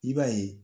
I b'a ye